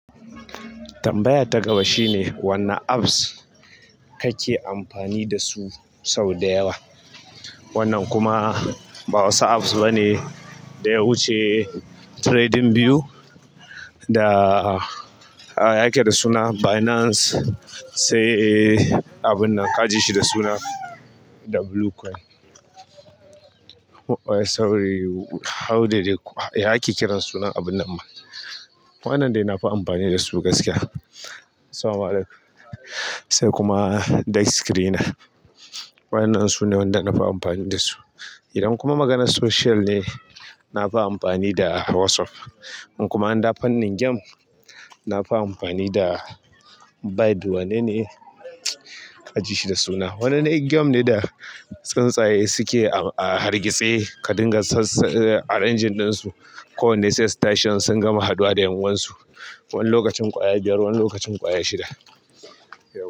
Tambaya ta gaba shine, "Wanne apps kake amfani dasu sau da yawa?" Wannan kuma ba wasu apps bane da yawuce. TradingView da, ah, ya ake da suna? Binance sai abun nan ka ji shi da suna Bluecoin. Oh, sorry, ya ake kiran sunan abun nan ma? Wannan dai na fi amfani da su gaskiya. Se kuma dexscreener. Waƴannan su ne wanda na fi amfani da su. Idan kuma maganar social ne, na fa amfani da WhatsApp. In kuma an dafa wani game, na fa amfani da Badu. Wane ne ka ji shi da suna? Wannan game ne da tsuntsaye suke a hargitse ka dinga a engine ɗinsu ko wanne sai station sun gama haɗuwa da ƴan uwansu. Wani lokacin ƙwaya biyar, wani lokacin ƙwaya shida.